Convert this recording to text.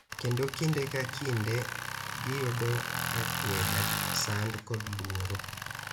Kendo kinde ka kinde giyudo akweda, sand, kod luoro.